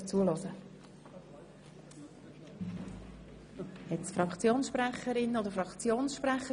Gibt es zu diesem Traktandum Fraktionssprecherinnen oder Fraktionssprecher?